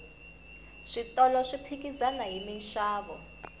switolo swi phikizana hi minxavo